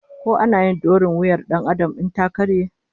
Ko ana yin dorin wuyar Dan Adam in ta karye?